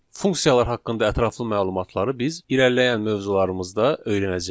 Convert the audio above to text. Funksiyalar haqqında ətraflı məlumatları biz irəliləyən mövzularımızda öyrənəcəyik.